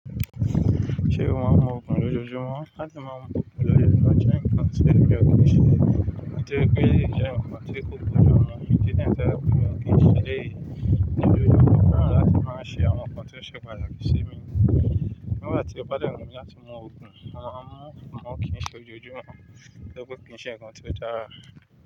Ṣé o máa ń mu òògùn lójoojúmọ́? La ti má mu ògùn lójoojúmọ́ jẹ́ nǹkan tí mi ò kín ṣe nítorípé ó jẹ́ nǹkan tí kò bójú mu, ìdí nìyẹn tó jẹ́ wípé n òkí n ṣe ẹ̀léyì, ní ojojúmọ́ mo fẹ́ràn láti máa ṣe àwọn ǹkan tí ó ṣe pàtàkì sí mi nígbà tí ó bá dẹ̀ wùn mí láti mu òògùn, mo máa ń mú, àmọ́ kín ṣe lójoojúmọ́, torípé kí n ṣe ǹkan tí ó dára.